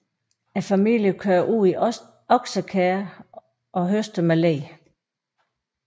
Familien kører ud i oksekærre og høster med le